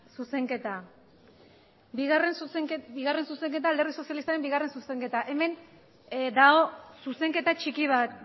zuzenketa alderdi sozialistaren bigarren zuzenketa hemen dago zuzenketa txiki bat